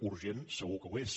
urgent segur que ho és